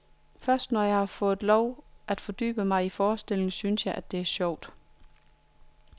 Først når jeg har fået lov at fordybe mig i forestillingen, synes jeg, det er sjovt.